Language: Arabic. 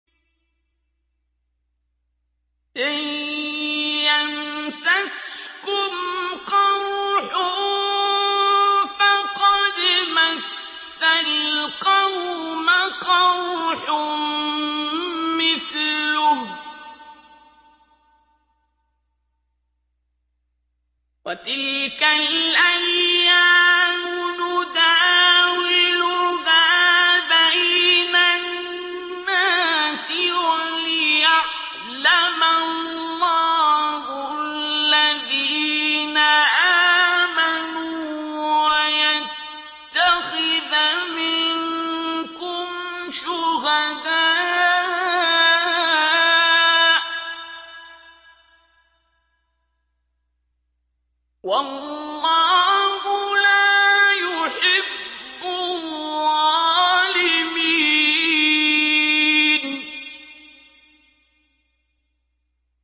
إِن يَمْسَسْكُمْ قَرْحٌ فَقَدْ مَسَّ الْقَوْمَ قَرْحٌ مِّثْلُهُ ۚ وَتِلْكَ الْأَيَّامُ نُدَاوِلُهَا بَيْنَ النَّاسِ وَلِيَعْلَمَ اللَّهُ الَّذِينَ آمَنُوا وَيَتَّخِذَ مِنكُمْ شُهَدَاءَ ۗ وَاللَّهُ لَا يُحِبُّ الظَّالِمِينَ